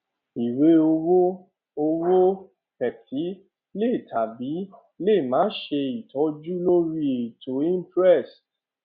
ìwé owó owó petty le tàbí lè má ṣe ìtọjú lórí ètò imprest